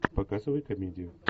показывай комедию